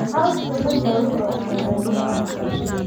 Cawska badda wuxuu caawiyaa noolaha.